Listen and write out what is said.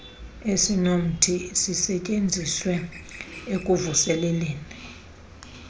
esinothi sisisetyenziswe ekuvuseleleni